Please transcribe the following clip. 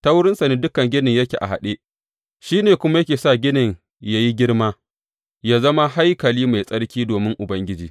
Ta wurinsa ne dukan ginin yake a haɗe, shi ne kuma yake sa ginin yă yi girma, yă zama haikali mai tsarki domin Ubangiji.